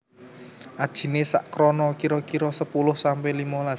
Ajiné sak krona kira kira sepuluh sampe limolas